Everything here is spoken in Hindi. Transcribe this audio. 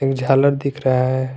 ये झालर दिख रहा है।